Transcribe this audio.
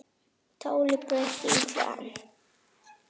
Táli pretta illu ann